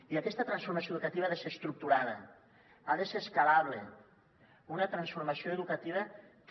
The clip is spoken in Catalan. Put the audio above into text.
i aquesta transformació educativa ha de ser estructurada ha de ser escalable una transformació educativa que